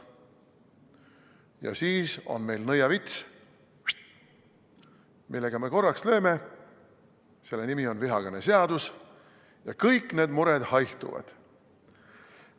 Ja siis on meil nõiavits, millega me korraks lööme – selle nimi on vihakõneseadus –, ja kõik need mured haihtuvad.